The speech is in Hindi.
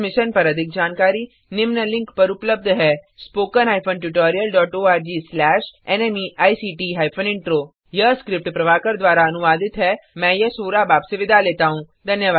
इस मिशन पर अधिक जानकारी निम्न लिंक पर उपलब्ध है spoken hyphen tutorial dot ORG slash नमेक्ट हाइफेन इंट्रो यह स्क्रिप्ट प्रभाकर द्वारा अनुवादित है मैं यश बोरा अब आप से विदा लेता हूँ